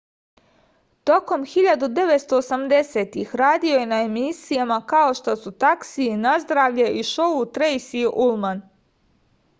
tokom 1980-ih radio je na emisijama kao što su taksi nazdravlje i šou trejsi ulman